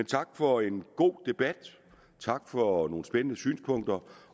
tak for en god debat tak for nogle spændende synspunkter